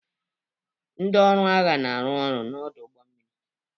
Ndị ọrụ agha na-arụ ọrụ n'ọdụ ụgbọ mmiri